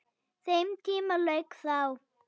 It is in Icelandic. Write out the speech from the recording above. Þeim tíma lauk þá.